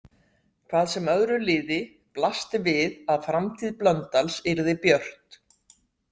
Hvað sem öðru liði blasti við að framtíð Blöndals yrði björt.